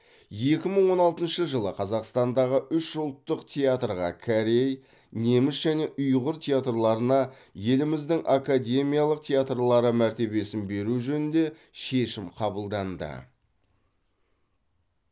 екі мың он алтыншы жылы қазақстандағы үш ұлттық театрға корей неміс және ұйғыр театрларына еліміздің академиялық театрлары мәртебесін беру жөнінде шешім қабылданды